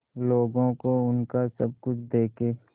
लोगों को उनका सब कुछ देके